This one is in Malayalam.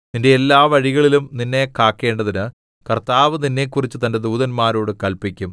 നിന്റെ എല്ലാ വഴികളിലും നിന്നെ കാക്കേണ്ടതിന് കർത്താവ് നിന്നെക്കുറിച്ച് തന്റെ ദൂതന്മാരോട് കല്പിക്കും